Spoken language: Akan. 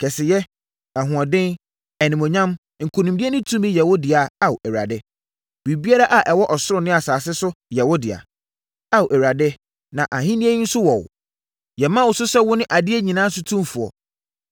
Kɛseyɛ, ahoɔden, animuonyam, nkonimdie ne tumi yɛ wo dea Ao Awurade. Biribiara a ɛwɔ ɔsoro ne asase so yɛ wo dea, Ao Awurade, na ahennie yi nso wɔ wo. Yɛma wo so sɛ wone adeɛ nyinaa so otumfoɔ.